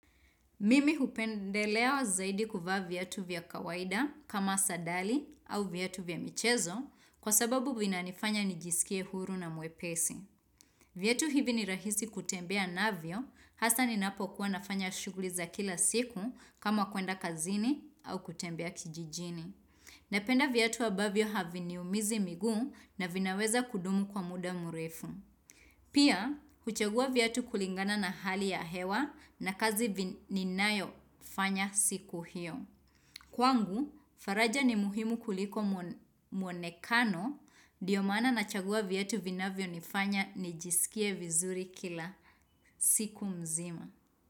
Mimi hupendelea zaidi kuvaa viatu vya kawaida kama sadali au viatu vya michezo kwa sababu vinanifanya nijisikie huru na mwepesi. Viatu hivi ni rahisi kutembea navyo hasa ni napokuwa nafanya shughuli za kila siku kama kwenda kazini au kutembea kijijini. Napenda viatu ambavyo haviniumizi miguu na vinaweza kudumu kwa muda mrefu. Pia, huchagua viatu kulingana na hali ya hewa na kazi ninayofanya siku hiyo. Kwangu, faraja ni muhimu kuliko muonekano dnio maana nachagua viatu vinavyonifanya nijisikie vizuri kila siku mzima.